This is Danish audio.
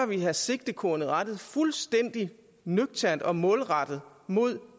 vi have sigtekornet rettet fuldstændig nøgternt og målrettet mod